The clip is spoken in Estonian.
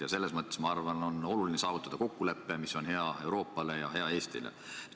Ma arvan, et selles mõttes on oluline saavutada kokkulepe, mis oleks hea Euroopale ja hea ka Eestile.